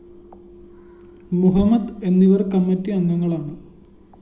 മുഹമ്മദ് എന്നിവര്‍ കമ്മിറ്റി അംഗങ്ങളാണ്